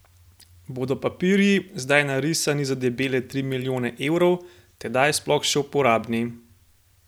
Bodo papirji, zdaj narisani za debele tri milijone evrov, tedaj sploh še uporabni?